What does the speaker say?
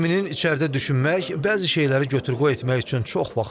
Eminin içəridə düşünmək, bəzi şeyləri götür-qoy etmək üçün çox vaxtı olub.